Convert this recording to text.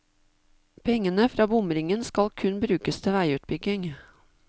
Pengene fra bomringen skal kun brukes til veiutbygging.